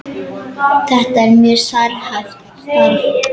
Þetta er mjög sérhæft starf.